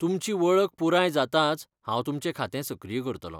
तुमची वळख पुराय जातांच हांव तुमचें खातें सक्रिय करतलों.